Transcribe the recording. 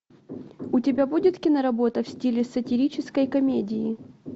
у тебя будет киноработа в стиле сатирической комедии